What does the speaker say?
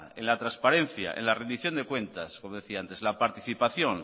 en la transparencia en la rendición de cuentas como decía antes la participación